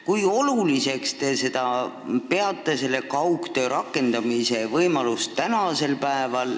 Kui oluliseks teie peate kaugtöö rakendamise võimalust?